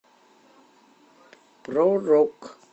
про рок